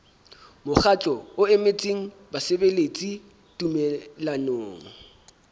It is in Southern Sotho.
mokgatlo o emetseng basebeletsi tumellanong